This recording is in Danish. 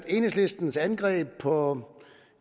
enhedslistens angreb på